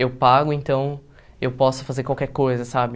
Eu pago, então eu posso fazer qualquer coisa, sabe?